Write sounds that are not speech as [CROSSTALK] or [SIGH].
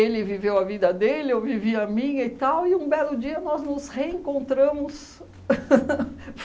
ele viveu a vida dele, eu vivi a minha e tal, e um belo dia nós nos reencontramos. [LAUGHS]